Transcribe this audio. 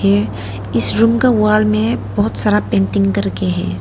इस रूम के वॉल में बहुत सारा पेंटिंग कर के है।